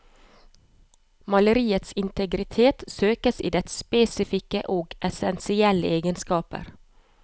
Maleriets integritet søkes i dets spesifikke og essensielle egenskaper.